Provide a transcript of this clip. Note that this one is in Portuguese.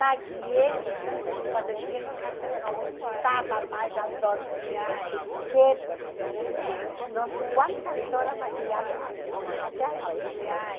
Maquiei, quando eu cheguei em casa, eu não aguentava mais a dor, porque fiquei não sei quantas horas maquiando, a até a noiva maquiei.